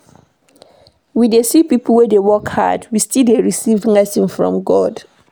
We dey see pipo wey dey work hard wey still dey receive blessing from God.